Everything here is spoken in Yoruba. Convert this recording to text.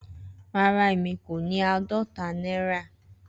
Rara emi ko ni aadọta naira.